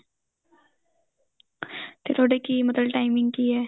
ਤੇ ਤੁਹਾਡੇ ਕੀ ਮਤਲਬ timing ਕੀ ਏ